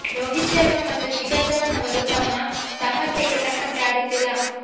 ರೋಹಿತ್ ಶರ್ಮಾ ಮತ್ತು ಶಿಖರ್ ಧವನ್ ಅವರು ತಮ್ಮ ಸಾಮರ್ಥ್ಯಕ್ಕೆ ತಕ್ಕಂತೆ ಆಡುತ್ತಿಲ್ಲ